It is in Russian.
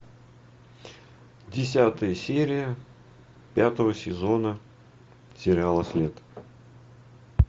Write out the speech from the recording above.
десятая серия пятого сезона сериала след